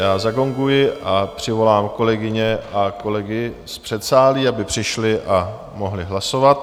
Já zagonguji a přivolám kolegyně a kolegy z předsálí, aby přišli a mohli hlasovat.